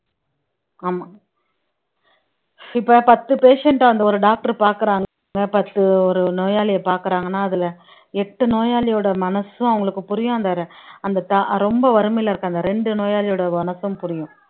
ஆமா இப்ப பத்து patient அ அந்த ஒரு doctor பாக்குறாங்க பத்து ஒரு நோயாளியை பாக்குறாங்கன்னா அதுல எட்டு நோயாளியோட மனசும் அவங்களுக்கு புரியும் அந்த அந்த ரொம்ப வறுமையில இருக்கிற அந்த ரெண்டு நோயாளியோட மனசும் புரியும்